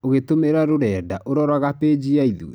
Ũgĩtũmĩra rũrenda, ũroraga pĩgi ya ithue.